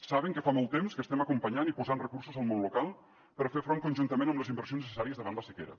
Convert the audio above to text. saben que fa molt temps que estem acompanyant i posant recursos al món local per fer hi front conjuntament amb les inversions necessàries davant la sequera